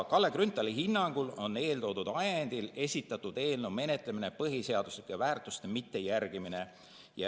Kalle Grünthali hinnangul on eeltoodud ajendil esitatud eelnõu menetlemine põhiseaduslike väärtuste mittejärgimine.